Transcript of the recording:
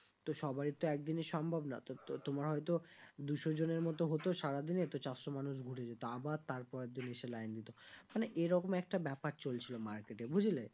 তো সবারই তো একদিনে সম্ভব না তো তোমার হয় তো দুশো জনের মত হতো সারাদিনে তো চারশো মানুষ ঘুরে যেত আবার তারপরের দিন এসে line দিতো মানে এরকম একটা ব্যাপার চলছিল market এ বুঝলে